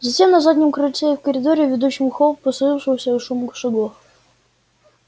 затем на заднем крыльце и в коридоре ведущем в холл послышался шум их шагов